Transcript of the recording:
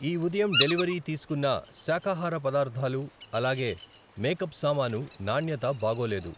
ఈ ఉదయం డెలివరీ తీసుకున్న శాకాహార పదార్థాలు అలాగే మేకప్ సామాను నాణ్యత బాగోలేదు.